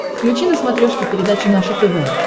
включи на смотрешке передачу наше тв